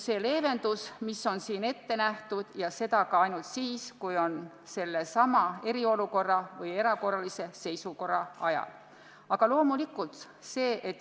Seda nõuet on nüüd leevendatud, aga ainult selleks ajaks, kui on kehtestatud eriolukord või erakorraline seisukord, ja sellist n-ö leevendust saab teha ainult PPA peadirektor.